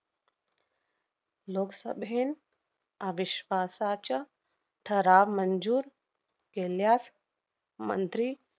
लोकसभेन अविश्वासाच्या ठराव मंजूर केल्यास मंत्री